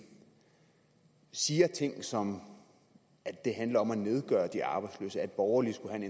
siger ting som at det handler om at nedgøre de arbejdsløse at borgerlige skulle have